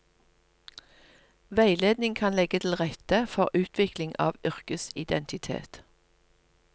Veiledning kan legge til rette for utvikling av yrkesidentitet.